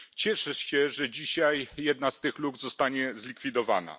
Cieszę się, że dzisiaj jedna z tych luk zostanie zlikwidowana.